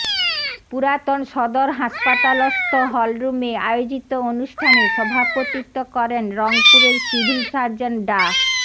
পুরাতন সদর হাসপাতালস্থ হলরুমে আয়োজিত অনুষ্ঠানে সভাপতিত্ব করেন রংপুরের সিভিল সার্জন ডা